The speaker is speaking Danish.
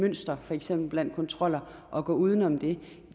mønster for eksempel blandt kontroller og gå uden om det